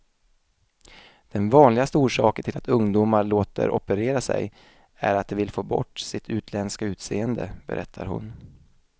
Den vanligaste orsaken till att ungdomar låter operera sig är att de vill få bort sitt utländska utseende, berättar hon.